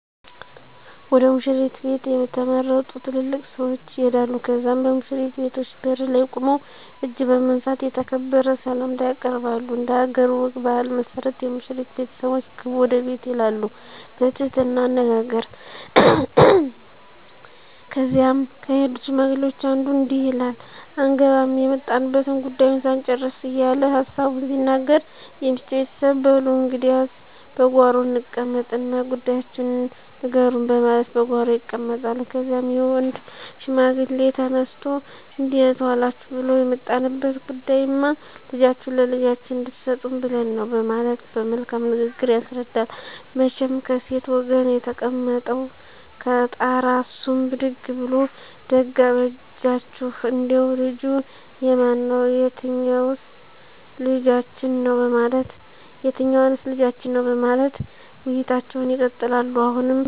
ወደ ሙሽሪት ቤት የተመረጡ ትልልቅ ሰዎች ይሄዳሉ ከዚያም በሙሽሪት ቤተሰቦች በር ላይ ቁመው እጅ በመንሳት የተከበረ ሰላምታ ያቀርባሉ። እንደሀገር ወግ ባህል መሠረት የሙሽሪት ቤተሰቦች ግቡ ወደ ቤት ይላሉ በትህትና አነጋገር ከዚያም ከሄዱት ሽማግሌዎች አንዱ እንዲህ ይላል አንገባም የመጣንበትን ጉዳዩ ሳንጭርስ እየለ ሀሳቡን ሲናገር የሚስት ቤተሰብ በሉ እንግዲያስ በጓሮ እንቀመጥ እና ጉዳያችሁን ንገሩኝ በማለት በጓሮ ይቀመጣሉ። ከዚያም የወንድ ሽማግሌ ተነስቶ እንዴት ዎላችሁ ብሉ የመጣንበት ጉዳይማ ልጃችሁን ለልጃችን እንድሰጡን ብለን ነው በማለት በመልካም ንግግር ያስረዳል። መቸም ከሴት ወገን የተቀመጠው ቀጣራ እሱም ብድግ ብሉ ደግ አበጃችሁ እንዴው ልጁ የማን ነው የትኞዎንስ ልጃችን ነው በማለት ውይይቶች ይቀጥላሉ። አሁንም ከወንድ ቀጣር አንዱ ይነሱና ልጅ የተከበረ ጭዎ የገሌ ልጅ ነው